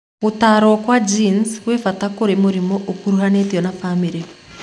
Gũtaro kwa gene kwĩ bata koro mũrimũ ũkuruhanĩtio na famĩlĩ.